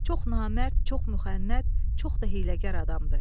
Çox namərd, çox mukhənnət, çox da hiyləgar adamdır.